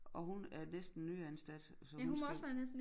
Og hun er næsten nyansat så hun skal